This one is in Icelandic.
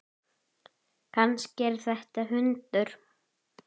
Kannski er þetta hundur?